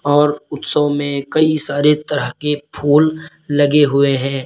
और उत्सव में कई सारे तरह के फूल लगे हुए हैं।